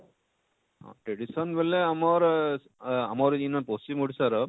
tradition ବଇଲେ ଆମର ଆଃ ଆମର ଇନର ପଶ୍ଚିମ ଓଡ଼ିଶାର